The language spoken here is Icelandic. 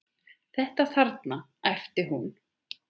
Þetta þarna, æpti hún.